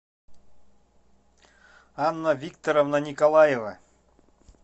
анна викторовна николаева